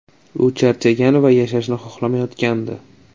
U charchagan va yashashni xohlamayotgandi”.